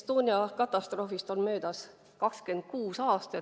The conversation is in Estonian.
Estonia katastroofist on möödas 26 aastat.